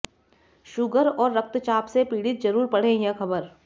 sugar और रक्तचाप से पीड़ित जरूर पढ़ें यह खबर